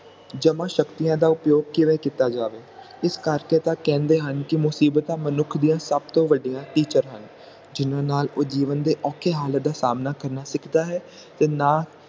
ਜਮਾ ਸ਼ਕਤੀਆਂ ਦਾ ਉਪਯੋਗ ਕਿਵੇਂ ਕੀਤਾ ਜਾਵੇ ਇਸ ਕਰਕੇ ਤਾ ਕਹਿੰਦੇ ਹਨ ਕਿ ਮੁਸੀਬਤਾਂ ਮਨੁੱਖ ਦੀਆਂ ਸਭ ਤੋਂ ਵੱਡਿਆਂ ਹਨ ਜਿਹਨਾਂ ਨਾਲ ਉਹ ਜੀਵਨ ਦੇ ਔਖੇ ਹਾਲਾਤ ਦਾ ਸਾਮਣਾ ਕਰਨਾ ਸਿੱਖਦਾ ਹੈ ਤੇ ਨਾ